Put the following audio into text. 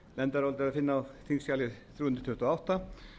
nefndarálitið er að finna á þingskjali þrjú hundruð tuttugu og átta